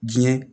Diɲɛ